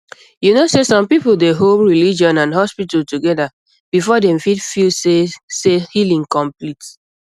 you know sey some people dey hold religion and hospital together before dem fit feel say say healing complete